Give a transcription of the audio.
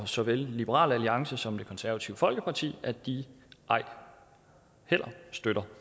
såvel liberal alliance som det konservative folkeparti og at de ej heller støtter